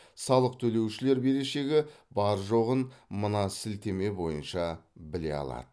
салық төлеушілер берешегі бар жоғын мына сілтеме бойынша біле алады